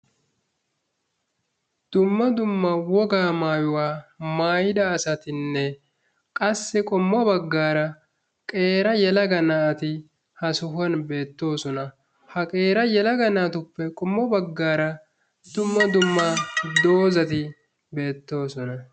Dumma dumma wogaa maayuwa mayida asatinne qassi qommo baggaara qeera yelaga naati ha sohuwan beettoosona. Ha qeera yelaga naatuppe qommo baggaara dumma dumma dozati beettoosona.